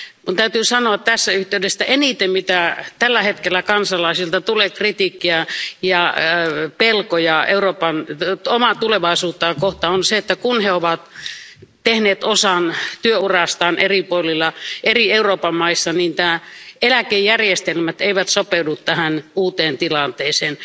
Minun täytyy sanoa tässä yhteydessä, että eniten mistä tällä hetkellä kansalaisilta tulee kritiikkiä ja pelkoja Eurooppaa ja omaa tulevaisuutta kohtaan on se, että kun he ovat tehneet osan työurastaan eri puolilla, eri Euroopan maissa, niin eri eläkejärjestelmät eivät sopeudu tähän uuteen tilanteeseen.